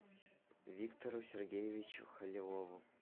виктору сергеевичу халилову